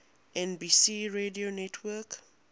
nbc radio network